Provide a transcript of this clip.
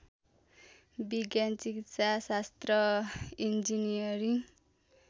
विज्ञान चिकित्साशास्त्र इन्जिनियरिङ